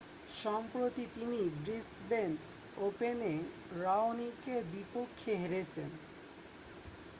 সম্প্রতি তিনি ব্রিসবেন ওপেনে রাওনিকের বিপক্ষে হেরেছেন